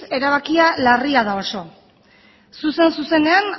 erabakia larria da oso zuzen zuzenean